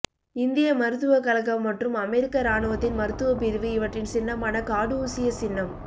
இந்திய மருத்துவக் கழகம் மற்றும் அமெரிக்க ராணுவத்தின் மருத்துவப் பிரிவு இவற்றின் சின்னமான காடூசியஸ் சின்னம்